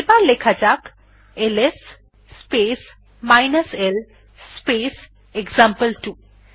এবার লেখা যাক LS space l space example two